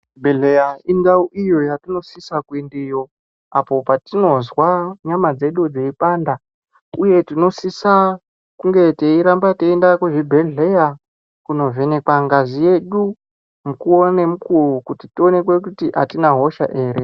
Chi bhedhleya indau iyo yatino sisa ku endeyo apo patinozwa nyama dzedu dzei panda uye tinosisa kunge tei ramba teienda ku zvibhedhleya kuno vhenekwa ngazi yedu mukuwo ne mukuwo kuti tionekwe kuti atina hosha ere.